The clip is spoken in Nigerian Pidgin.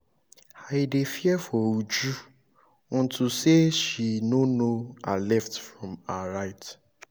i dey fear for uju unto say she no know her left from her right